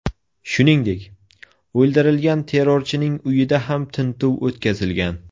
Shuningdek, o‘ldirilgan terrorchining uyida ham tintuv o‘tkazilgan.